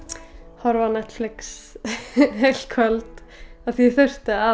horfa á Netflix heilt kvöld af því að